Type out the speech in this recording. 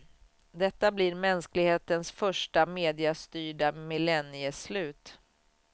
Detta blir mänsklighetens första mediastyrda millennieslut.